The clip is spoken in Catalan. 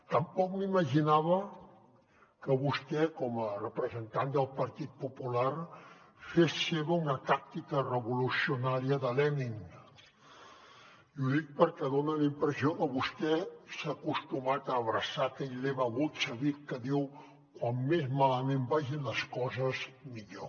tampoc m’imaginava que vostè com a representant del partit popular fes seva una tàctica revolucionària de lenin i ho dic perquè dona la impressió que vostè s’ha acostumat a abraçar aquell lema bolxevic que diu com més malament vagin les coses millor